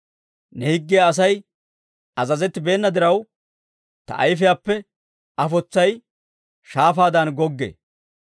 Ne higgiyaw Asay azazettibeena diraw, ta ayifiyaappe afotsay shaafaadan goggee.